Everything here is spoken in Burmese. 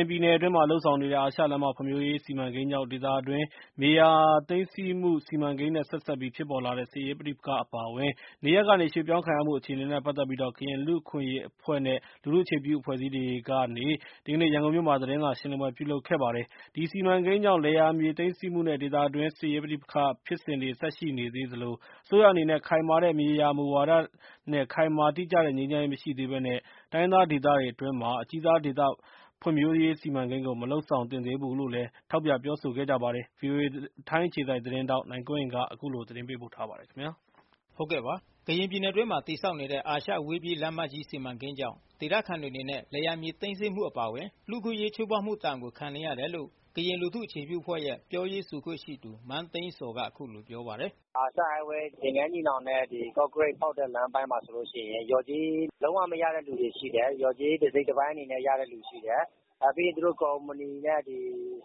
င်ပြည်နယ်အတွင်းမှာ လုပ်ဆောင်နေတဲ့ အာရှလမ်းမ ဖွံ့ဖြိုးရေး စီမံကိန်းကြောင့် ဒေသအတွင်းမြေယာသိမ်း ဆည်းမှု စီမံကိန်းနဲ့ ဆက်စပ်ပြီး ဖြစ်ပေါ် လာသော စစ်ရေးပဋိပက္ခတွေ အပါအဝင် နေရပ် ကနေ ရွှေ့ပြောင်းခံရမှု အခြေအနေနဲ့ ပတ်သက်ပြီး ကရင်လူ့အခွင့်အရေးအဖွဲ့ နဲ့လူထုအခြေပြု အဖွဲ့အစည်းတွေကနေ ဒီကနေ့ရန်ကုန်မြို့ မှာ သတင်းစာရှင်းလင်း ပွဲပြုလုပ်ခဲ့တာပါ။ ဒီစီမံကိန်းတွေကြောင့် လယ်ယာမြေသိမ်းဆည်းမှုနဲ့ ဒေသအတွင်းစစ်ရေး ပဋိပက္ခဖြစ်စဉ်တွေ ဆက်လက် ရှိနေသေးသလို အစိုးရအနေနဲ့ ခိုင်မာတဲ့ မြေယာ မူဝါဒနဲ့ ခိုင်မာတိကျတဲ့ ငြိမ်းချမ်းရေး မရှိသေးဘဲနဲ့ တိုင်းရင်းသားဒေသ အတွင်းမှာ အကြီးစားဒေသ ဖွံ့ဖြိုးရေးစီမံကိန်းကို မလုပ်ဆောင်သင့်သေးဘူးလို့ လဲ ထောက်ပြပြော ဆိုနေကြပါတယ်။ ဗွီအိုအေ ထိုင်းအခြေစိုက်သတင်းထောက် နိုင်ကွန်းအိန်ကနေ အခုလိုသတင်းပေးပို့ထားပါတယ်။ ကရင်ပြည်နယ်အတွင်း တည်ဆောက်နေတဲ့ အာရှအဝေးပြေးလမ်းမကြီး စီမံကိန်းကြောင့် ဒေသခံတွေအနေနဲ့ လယ်ယာမြေသိမ်းဆည်းမှုအပါအဝင် လူ့အခွင့်အရေး ချိုးဖေါက်မှုဒဏ်ကို ခံနေရတယ်လို့ ကရင်လူထုအခြေပြု အဖွဲ့ရဲ့ ပြောရေးဆိုခွင့်ရှိသူ မန်းသိန်းဇော်က အခုလိုပြောပါတယ်။ " အာရှအဝေးပြေးလမ်းမကြီး သင်္ဃန်းညီနောင်နဲ့ ကော့ကရိတ်ဖောက်တဲ့ လမ်းပိုင်းမှာဆိုရင် လျော်ကြေး လုံးဝ မရတဲ့သူတွေရှိတယ်။ လျော်ကြေး တစိတ်တပိုင်းအနေနဲ့ ရတဲ့သူတွေရှိတယ်။ နောက်ပြီး ကုမ္ပဏီနဲ့ အ